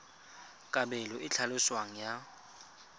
kabelo e e tlhaloswang ya